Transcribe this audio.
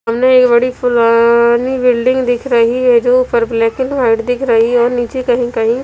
हमे एक बड़ी पुरानी बिल्डिंग दिख रखी है जो ऊपर ब्लैक एंड व्हाइट दिख है और नीचे कहीं कहीं --